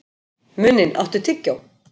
Muninn, áttu tyggjó?